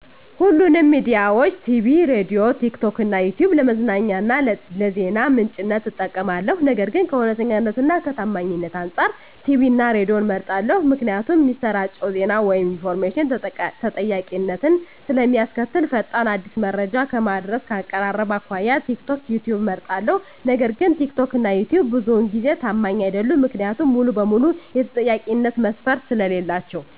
ሁሉንም ሚዲያዊች -ቲቪ፤ ሬድዬ፤ ቲክቶክ እና ይትዩብ ለመዝናኛ እና ለዜና ምንጭነት እጠቀማለሁ። ነገር ግን ከእውነተኛነት እና ከታማኝነት አንፃር ቲቪን እና ሬድዬን እመርጣለሁ ምክንያቱም እሚሰራጨው ዜና ወይም ኢንፎርሜሽን ተጠያቂነትን ስለእሚያስከትል። ፈጣን፤ አዲስ መረጃ ከማድረስ፤ ከአቀራረብ አኮያ ቲክቶክ፤ ዩትዩብ እመርጣለሁ። ነገር ግን ትክትክ እና ይትዩብ ብዙውን ጊዜ ታማኝ አይደሉም። ምክንያቱም ሙሉ በሙሉ የተጠያቂነት መስፈርት ስለሌላቸው።